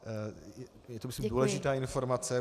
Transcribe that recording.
Je to myslím důležitá informace.